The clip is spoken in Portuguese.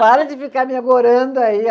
Para de ficar me agorando aí.